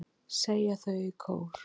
segja þau í kór.